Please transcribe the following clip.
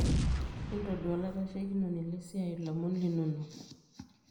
Intodua olaitashekinoni lesia ilomon linonok.